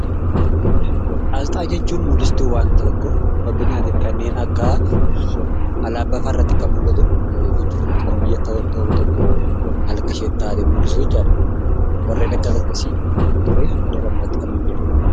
Aasxaa jechuun mul'istuu wanta tokko fakkeenyaaf kan akka alaabaafaa irratti kan mul'atu, kan biyyi tokko maal akka isheen taate mul'isu jechuudha. Warreen akkas akkasi kunis alaabaa irratti kan mul'atudha.